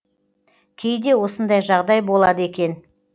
кейде осындай жағдай болады екен